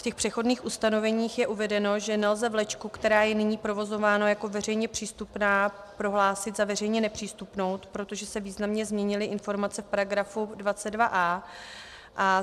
V těch přechodných ustanoveních je uvedeno, že nelze vlečku, která je nyní provozována jako veřejně přístupná, prohlásit za veřejně nepřístupnou, protože se významně změnily informace v paragrafu 22a.